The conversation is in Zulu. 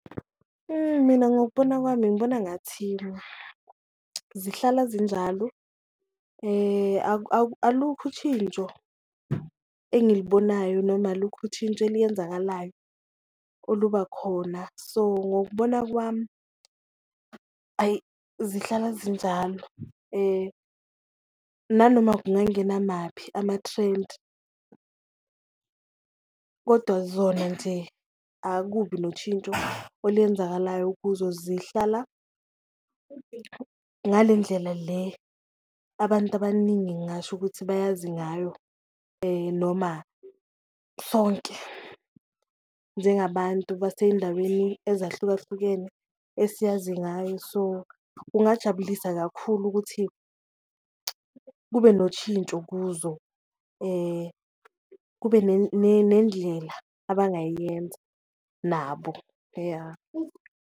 Mina ngokubona kwami ngibona ngathi zihlala zinjalo alukho ushintsho engilibonayo noma alukho ushintsho eliyenzakalayo oluba khona, so ngokubona kwami ayi, zihlala zinjalo nanoma kungangena maphi ama-trend kodwa zona nje akubi noshintsho oluyenzakalayo kuzo. Zihlala ngale ndlela le abantu abaningi ngingasho ukuthi bayazi ngayo noma sonke njengabantu baseyindaweni ezahlukahlukene esiyazi ngayo, so kungajabulisa kakhulu ukuthi kube noshintsho kuzo, kube nendlela abangayiyenza nabo, ya.